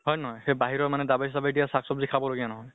হয় নে নহয়? সেই বাহিৰৰ মানে দাবাই চাবাই দিয়া চাক চব্জি খাব লগিয়া নহয়।